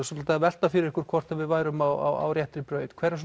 svolítið að velta fyrir ykkur hvort við værum á réttri braut hverjar